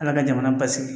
Ala ka jamana basigi